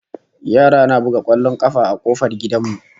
Yara na buga kwallon kafa a kofar gidan mu